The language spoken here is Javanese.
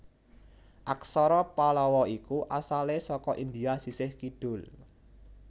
Aksara Pallawa iku asalé saka India sisih kidul